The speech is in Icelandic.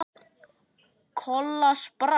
Kolla sprakk.